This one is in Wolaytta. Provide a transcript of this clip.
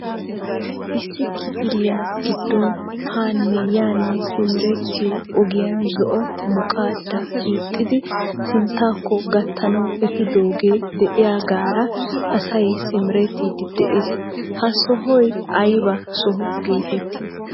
Issi kifiliya giddon hanne yanne simmerettiyo ogiyan zo"u muqqada hiixidi sinttakko gatanaw efiidooge de'iyagaara asay simmerettidi de'ees. Ha sohoy aybba soho getetti?